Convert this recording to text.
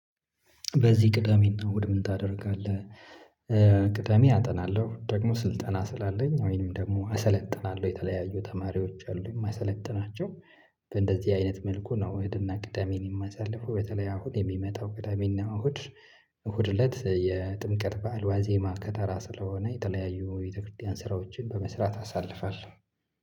በዚህ ቅዳሜና እሁድ ምን? ታደርጋለህ ቅዳሜ አጠናለሁ ደግሞ ስልጠና ስላለኝ ወይንም ደግሞ አሰለጥናለሁ የተለያዩ ተማሪዎች አሉ የማሰለጥናቸው። በእንደዚህ አይነት መልኩ ነው እሁድትና ቅዳሜን የማሳልፈው በተለይ አሁን የሚመጣው ቅዳሜና እሁድ። እሁድ እለት የጥምቀት በዓል ዋዜማ ከተራ ስለሆነ የተለያዩ የቤተክርስቲያን ስራዎችን በመስራት አሳልፋለሁ።